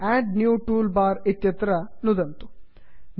add new toolbar add new toolbar इत्यत्र नुदन्तु